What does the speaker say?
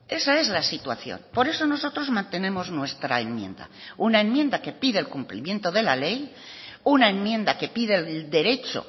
esa es la situación por eso nosotros mantenemos nuestra enmienda una enmienda que pide el cumplimiento de la ley una enmienda que pide el derecho